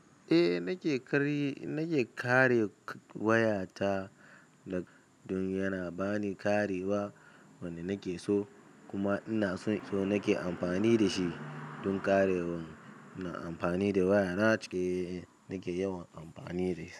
Nake karye nake kare waya ta, don yana bani karewa wanda nake so kuma ina so nake amfani da shi don karewan. Ina amfani da wayana cike nake yawan amfani da shi.